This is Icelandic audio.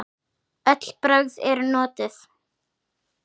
Öll brögð eru notuð.